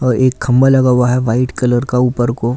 और एक खंबा लगा हुआ है वाइट कलर का ऊपर को --